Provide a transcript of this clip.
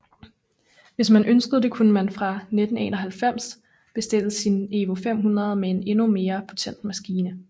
Hvis man ønskede det kunne man fra 1991 bestille sin EVO 500 med en endnu mere potent maskine